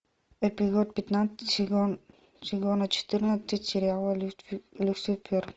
эпизод пятнадцать сезон сезона четырнадцать сериала люцифер